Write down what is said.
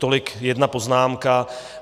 Tolik jedna poznámka.